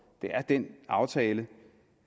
er den aftale